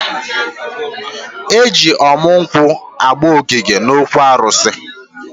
Eji ọmụ nkwụ agba ogige n'okwu arụsị.